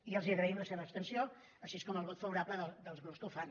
i els agraïm la seva abstenció com també el vot fa·vorable dels grups que ho fan